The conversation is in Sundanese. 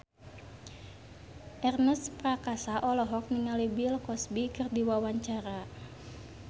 Ernest Prakasa olohok ningali Bill Cosby keur diwawancara